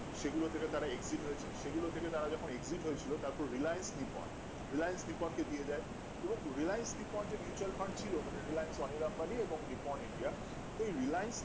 সেগুলো থেকে তারা exit হয়েছে সেগুলো থেকে তারা যখন exit হয়েছিল তারপর Reliance নিপন Reliance নিপন কে দিয়ে যায় এবং Reliance যে mutual Fund ছিলো মানে Reliance আম্বানি এবং নিপন india সেই Reliance